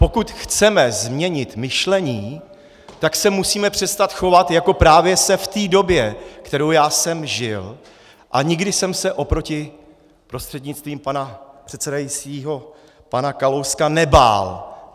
Pokud chceme změnit myšlení, tak se musíme přestat chovat, jako právě se v té době, kterou já jsem žil, a nikdy jsem se oproti, prostřednictvím pana předsedajícího, pana Kalouska nebál.